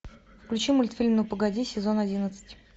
включи мультфильм ну погоди сезон одиннадцать